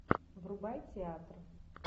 врубай театр